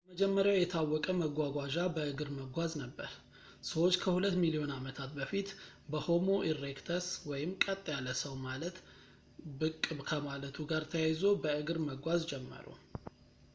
የመጀመሪያው የታወቀ መጓጓዣ በእግር መጓዝ ነበር ፣ ሰዎች ከሁለት ሚሊዮን ዓመታት በፊት በሆሞ ኢሬክተስ ቀጥ ያለ ሰው ማለት ብቅ ከማለቱ ጋር ታያይዞ፣ በእግር መጓዝ ጀመሩ